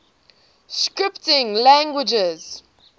scripting languages